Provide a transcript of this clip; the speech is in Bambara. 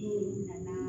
N'olu nana